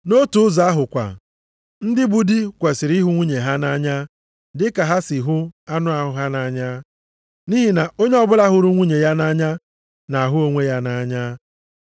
Nʼotu ụzọ ahụ kwa, ndị bụ di kwesiri ịhụ nwunye ha nʼanya dị ka ha si hụ anụ ahụ ha nʼanya. Nʼihi na onye ọbụla hụrụ nwunye ya nʼanya na-ahụ onwe ya nʼanya.